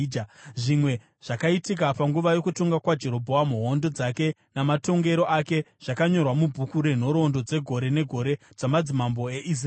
Zvimwe zvakaitika panguva yokutonga kwaJerobhoamu, hondo dzake namatongero ake, zvakanyorwa mubhuku renhoroondo dzegore negore dzamadzimambo eIsraeri.